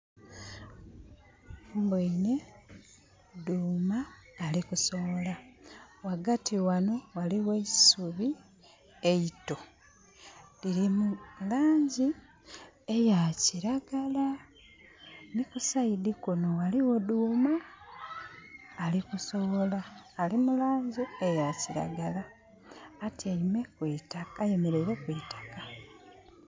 Mbwoine dhuuma ali kusowola. Ghagati wano waliwo eisubi eito. Liri mulangi eya kiragala ni kusaidi kuno waliwo duuma alikusowola. Ali mulangi eya kiragala. Ayemereire kwitakka